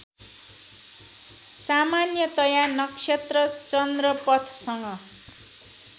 सामान्यतया नक्षत्र चन्द्रपथसँग